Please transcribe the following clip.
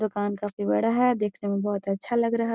दुकान काफी बड़ा है देखने में बहुत अच्छा लग रहा --